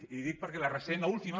i li ho dic perquè la recent l’última